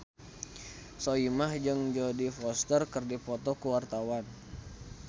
Soimah jeung Jodie Foster keur dipoto ku wartawan